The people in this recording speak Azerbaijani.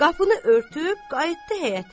Qapını örtüb qayıtdı həyətə.